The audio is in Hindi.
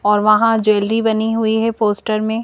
और वहां ज्वेलरी बनी हुई है पोस्टर में।